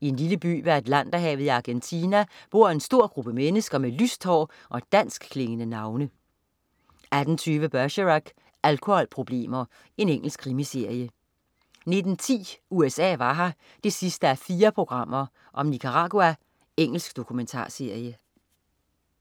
I en lille by ved Atlanterhavet i Argentina bor en stor gruppe mennesker med lyst hår og danskklingende navne 18.20 Bergerac: Alkoholproblemer. Engelsk krimiserie 19.10 USA var her 4:4. Nicaragua. Engelsk dokumentarserie